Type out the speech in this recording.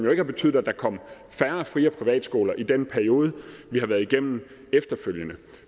jo ikke betydet at der kom færre fri og privatskoler i den periode vi har været igennem efterfølgende